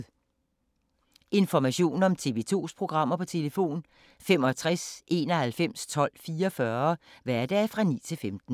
Information om TV 2's programmer: 65 91 12 44, hverdage 9-15.